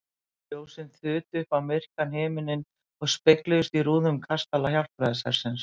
Ljósin þutu upp á myrkan himininn og spegluðust í rúðum kastala Hjálpræðishersins.